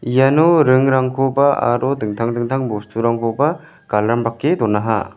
iano ringrangkoba aro dingtang dingtang bosturangkoba galambrake donaha.